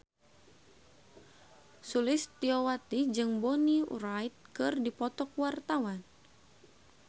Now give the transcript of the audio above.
Sulistyowati jeung Bonnie Wright keur dipoto ku wartawan